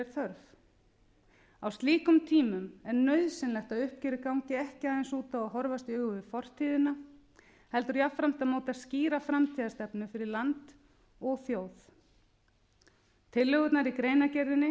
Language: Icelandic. þörf á slíkum tímum er nauðsynlegt að uppgjörið gangi ekki aðeins út á að horfast í augu við fortíðina heldur jafnframt að móta skýra framtíðarstefnu fyrir land og þjóð tillögurnar í greinargerðinni